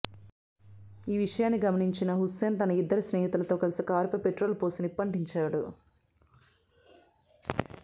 ఈ విషయాన్ని గమనించిన హుస్సేన్ తన ఇద్దరు స్నేహితులతో కలిసి కారుపై పెట్రోల్ పోసి నిప్పంటించాడు